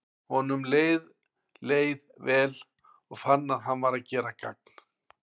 Honum leið leið vel, og fann að hann var að gera gagn.